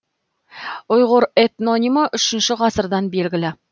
ұйғыр этнонимі үшінші ғасырдан белгілі